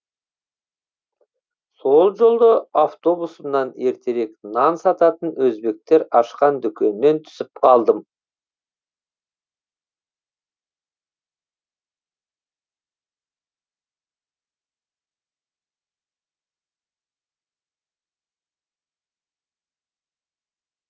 сол жолы автобусымнан ертерек нан сататын өзбектер ашқан дүкеннен түсіп қалдым